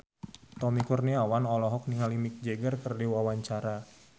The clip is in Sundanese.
Tommy Kurniawan olohok ningali Mick Jagger keur diwawancara